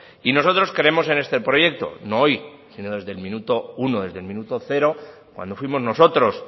y nosotros creemos en este proyecto no hoy sino desde el minuto uno desde el minuto cero cuando fuimos nosotros